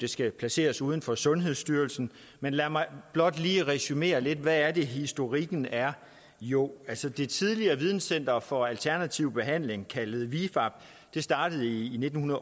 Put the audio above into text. skal placeres uden for sundhedsstyrelsen men lad mig blot lige resumere lidt hvad det er historikken er jo altså det tidligere videnscenter for alternativ behandling kaldet vifab startede i nitten